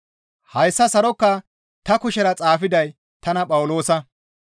Hayssa sarokaa ta kushera xaafiday tana Phawuloosa.